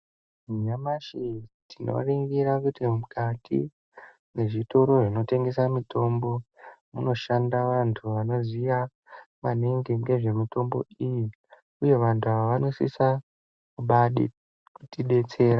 Nyamashi tinoningira kuti mukati mezvitoro zvinotengesa mitombo munoshanda vantu vanoziye maningi nezvemutambo iyi uye vantu ava vanosisa kutidetsera.